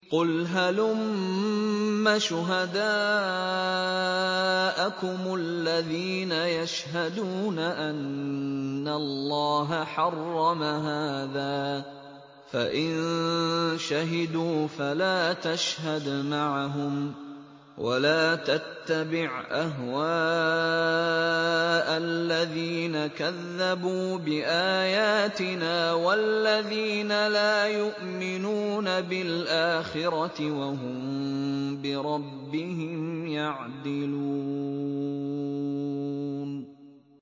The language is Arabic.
قُلْ هَلُمَّ شُهَدَاءَكُمُ الَّذِينَ يَشْهَدُونَ أَنَّ اللَّهَ حَرَّمَ هَٰذَا ۖ فَإِن شَهِدُوا فَلَا تَشْهَدْ مَعَهُمْ ۚ وَلَا تَتَّبِعْ أَهْوَاءَ الَّذِينَ كَذَّبُوا بِآيَاتِنَا وَالَّذِينَ لَا يُؤْمِنُونَ بِالْآخِرَةِ وَهُم بِرَبِّهِمْ يَعْدِلُونَ